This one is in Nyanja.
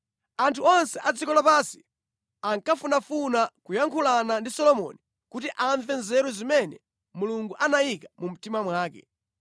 Anthu onse a dziko lapansi ankafunafuna kuyankhulana ndi Solomoni kuti amve nzeru zimene Mulungu anayika mu mtima mwake.